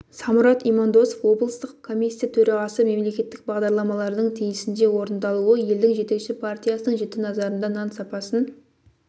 самұрат имандосов облыстық комиссия төрағасы мемлекеттік бағдарламалардың тиісінше орындалуы елдің жетекші партиясының жіті назарында нан сапасын